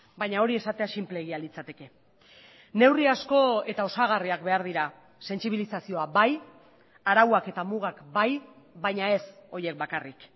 baina hori esatea sinpleegia litzateke neurri asko eta osagarriak behar dira sentsibilizazioa bai arauak eta mugak bai baina ez horiek bakarrik